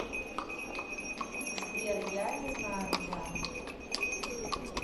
сбер я не знаю где она